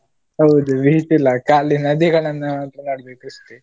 ಹೌದು beach ಇಲ್ಲ, ಖಾಲಿ ನದಿಗಳನ್ನ .